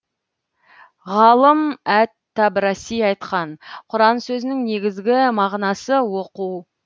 ғалым әт табраси айтқан құран сөзінің негізгі мағынасы оқу